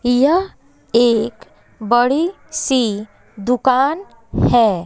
यह एक बड़ी सी दुकान है।